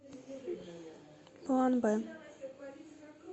план б